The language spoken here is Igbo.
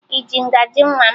Ị ji ngaji nwa m?